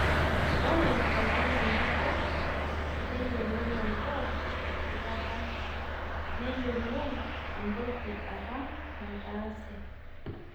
Ore tenkolong' nabo neyiolou enkop esipata neyiolou entoki apa nataase